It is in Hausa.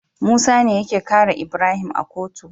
Musa ne yake kare Ibrahim a kotu